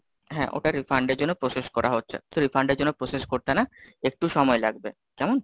হ্যাঁ, ওটা refunds র জন্য process করা হচ্ছে। তো refund র জন্য process করতে না, একটু সময় লাগবে? কেমন?